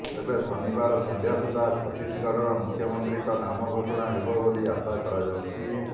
ତେବେ ଶନିବାର ସନ୍ଧ୍ୟା ସୁଦ୍ଧା ଛତିଶଗଡ଼ର ମୁଖ୍ୟମନ୍ତ୍ରୀଙ୍କ ନାମ ଘୋଷଣା ହେବ ବୋଲି ଆଶା କରାଯାଉଛି